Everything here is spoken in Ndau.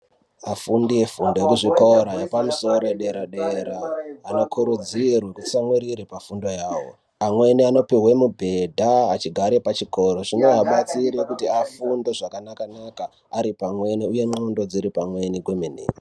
Vafundi vefundo yekuzvikora zvepamusoro, yedera-dera, vanokurudzirwa kutsamwirira pafundo yawo. Amweni anopuhwe mibhedha achigare pachikora. Zvinoabatsira kuti afunde zvakanaka-naka ari pamweni uye ngqondo dziri pamweni kwemene.